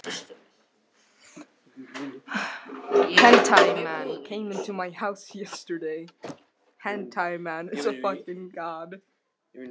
Í andlitum þeirra tókst efinn á við aðdáunina.